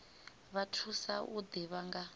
vha thusa u ḓivha nga